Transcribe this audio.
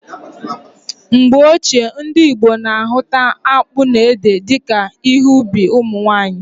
Mgbe ochie, ndị Igbo na ahụta akpụ na ede dika ihe ubi ụmụnwanyị